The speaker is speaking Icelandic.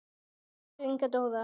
Axel og Inga Dóra.